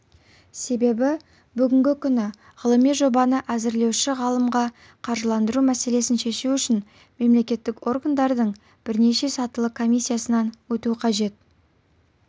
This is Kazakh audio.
себебі бүгінгі күні ғылыми жобаны әзірлеуші ғалымға қаржыландыру мәселесін шешу үшін мемлекеттік органдардың бірнеше сатылы комиссиясынан өту қажет